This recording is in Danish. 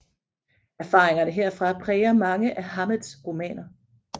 Erfaringerne herfra præger mange af Hammetts romaner